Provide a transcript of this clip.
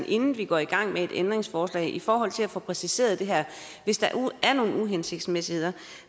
inden vi går i gang med et ændringsforslag i forhold til at få præciseret det her hvis der er nogle uhensigtsmæssigheder